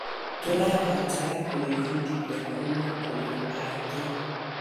Tũrabatara gwĩbundithia kuuma kũrĩ angĩ.